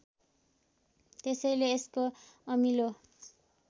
त्यसैले यसको अमिलो